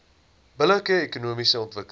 billike ekonomiese ontwikkeling